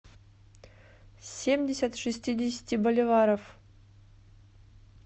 семьдесят шестидесяти боливаров